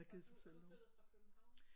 Har du er du flyttet fra København?